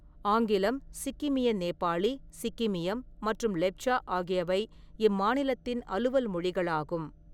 ஆங்கிலம், சிக்கிமிய நேபாளி, சிக்கிமியம் மற்றும் லெப்ச்சா ஆகியவை இம்மாநிலத்தின் அலுவல் மொழிகளாகும்.